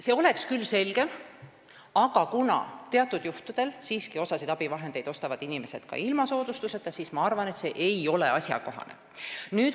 See oleks küll selgem, aga kuna teatud juhtudel ostavad inimesed siiski osa abivahendeid ka ilma soodustuseta, siis ma arvan, et see ei ole asjakohane.